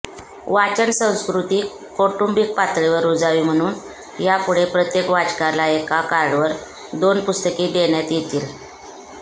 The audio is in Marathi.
वाचन संस्कृती कौटुंबीक पातळीवर रुजावी म्हणून यापुढे प्रत्येक वाचकाला एका कार्डवर दोन पुस्तके देण्यात येतील